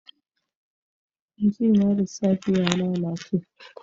Inji na lissafi ya lalace